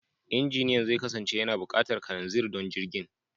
Injiniyan zai kasance yana buƙatar kananzir don jirgin.